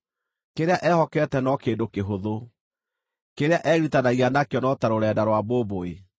Kĩrĩa ehokete no kĩndũ kĩhũthũ; kĩrĩa egiritanagia nakĩo no ta rũrenda rwa mbũmbũĩ.